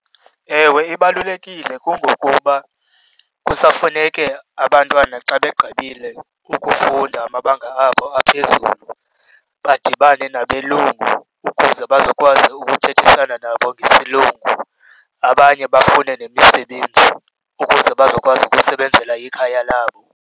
Ewe ibalulekile, kungokuba kusafuneke abantwana xa begqibile ukufunda amabanga abo aphezulu badibane nabelungu ukuze bazokwazi ukuthethisana nabo ngesilungu, abanye bafune nemisebenzi ukuze bazokwazi ukusebenzela ikhaya labo.